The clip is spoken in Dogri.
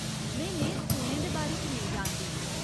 में नेहे स्कूलें दे बारे च नेईं जानदी।